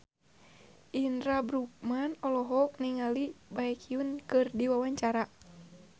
Indra L. Bruggman olohok ningali Baekhyun keur diwawancara